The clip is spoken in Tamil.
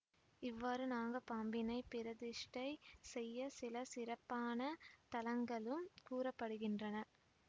இவ்வாறு நாகப் பாம்பினை பிரதிஷ்டை செய்ய சில சிறப்பான தலங்களும் கூற படுகின்றன